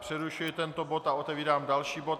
Přerušuji tento bod a otevírám další bod